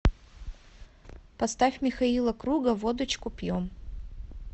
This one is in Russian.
поставь михаила круга водочку пьем